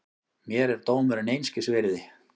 Mér er dómurinn einskis virði.